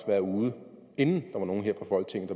været ude inden der var nogen her fra folketinget